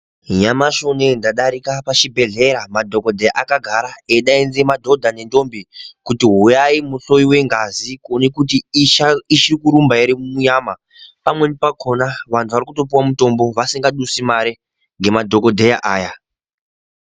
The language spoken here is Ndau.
Nyanmashi unono ndadarike pachibhehleya madhokodheya akagara eidaidza madhodha nendombi kuti huyai muhloyiwe ngazi kuone kuti ichiri kurumba ere munyama pamweni pakona vanhu vari kutopuwa mutombo vasika dusi mare ngemadhokodheya aya.